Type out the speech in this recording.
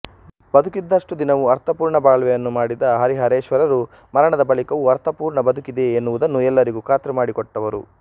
ಬದುಕಿದ್ದಷ್ಟು ದಿನವೂ ಅರ್ಥಪೂರ್ಣ ಬಾಳ್ವೆಯನ್ನು ಮಾಡಿದ ಹರಿಹರೇಶ್ವರರು ಮರಣದ ಬಳಿಕವೂ ಅರ್ಥಪೂರ್ಣಬದುಕಿದೆ ಎನ್ನುವುದನ್ನು ಎಲ್ಲರಿಗೂ ಖಾತ್ರಿಮಾಡಿಕೊಟ್ಟವರು